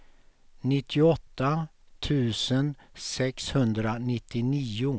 nittioåtta tusen sexhundranittionio